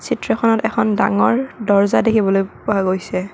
চিত্ৰখনত এখন ডাঙৰ দৰ্জা দেখিবলৈ পোৱা গৈছে।